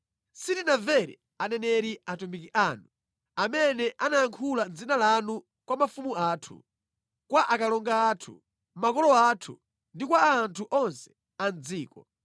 Sitinamvere aneneri atumiki anu, amene anayankhula mʼdzina lanu kwa mafumu athu, kwa akalonga athu, makolo athu, ndi kwa anthu onse a mʼdziko.